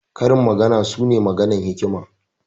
Karin magana su ne maganan hikima.